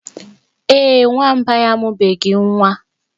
Ee, Nwamba ya amụbeghi nwa.